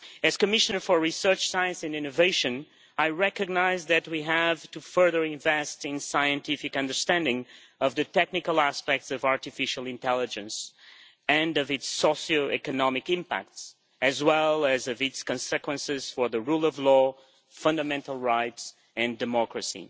As Commissioner for Research, Science and Innovation, I recognise that we have to further invest in scientific understanding of the technical aspects of artificial intelligence and of its socio economic impacts, as well as of its consequences for the rule of law, fundamental rights and democracy.